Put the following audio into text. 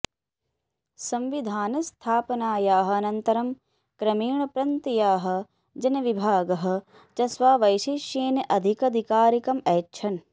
संविधानस्थापनायाः अनन्तरं क्रमेण प्रन्त्याः जनविभागः च स्व वैशेष्येन अधिकधिकारम् ऐच्छन्